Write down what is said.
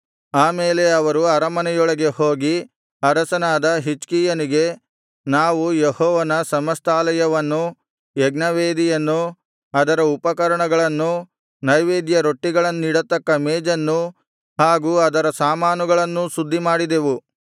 ಆಮೇಲೆ ಅವರು ಅರಮನೆಯೊಳಗೆ ಹೋಗಿ ಅರಸನಾದ ಹಿಜ್ಕೀಯನಿಗೆ ನಾವು ಯೆಹೋವನ ಸಮಸ್ತಾಲಯವನ್ನೂ ಯಜ್ಞವೇದಿಯನ್ನೂ ಅದರ ಉಪಕರಣಗಳನ್ನೂ ನೈವೇದ್ಯ ರೊಟ್ಟಿಗಳನ್ನಿಡತಕ್ಕ ಮೇಜನ್ನೂ ಹಾಗು ಅದರ ಸಾಮಾನುಗಳನ್ನೂ ಶುದ್ಧಿಮಾಡಿದೆವು